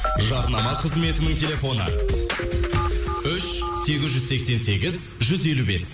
жарнама қызметінің телефоны үш сегіз жүз сексен сегіз жүз елу бес